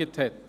genehmigt hat.